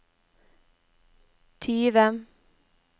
tyve